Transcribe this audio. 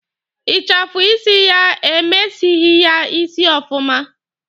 Ịchafụ isi ya emesighi ya isi ọfụma.